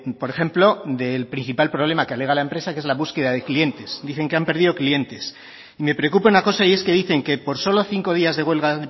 por ejemplo del principal problema que alega la empresa que es la búsqueda de clientes dicen que han perdido clientes y me preocupa una cosa y es que dicen que por solo cinco días de huelga